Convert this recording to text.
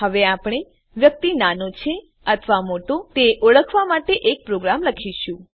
હવે આપણે વ્યક્તિ નાનો છે અથવા મોટો છે તે ઓળખવા માટેનો એક પ્રોગ્રામ લખીશું